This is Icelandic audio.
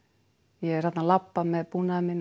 ég er þarna að labba með búnaðinn minn og